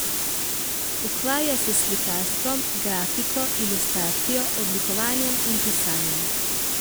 Ukvarja se s slikarstvom, grafiko, ilustracijo, oblikovanjem in pisanjem.